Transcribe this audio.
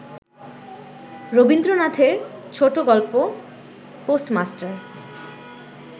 রবীন্দ্রনাথের ছোটগল্প পোস্টমাস্টার